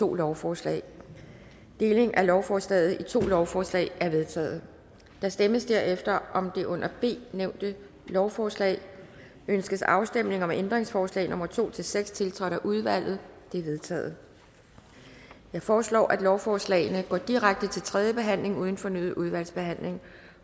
to lovforslag deling af lovforslaget i to lovforslag er vedtaget der stemmes herefter om det under b nævnte lovforslag ønskes afstemning om ændringsforslag nummer to seks tiltrådt af udvalget det er vedtaget jeg foreslår at lovforslagene går direkte til tredje behandling uden fornyet udvalgsbehandling